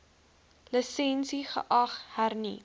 lisensie geag hernu